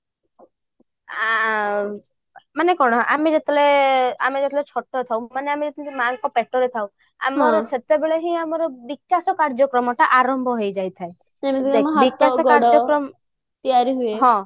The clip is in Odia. ଆଁ ମାନେ କଣ ମମେ ଯେତେବେଳେ ଛୋଟ ଥାଉ ମାନେ ଆମେ ଯେତେବେଳେ ମାଙ୍କ ପେଟରେ ଥାଉ ଆମର ସେତେବଳେ ହିଁ ଆମର ବିକାଶ କାର୍ଯ୍ୟକ୍ରମ ଟା ଆରମ୍ଭ ହେଇଯାଇଥାଏ